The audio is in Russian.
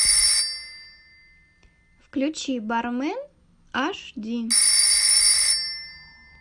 включи бармен аш ди